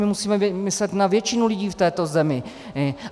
My musíme myslet na většinu lidí v této zemi.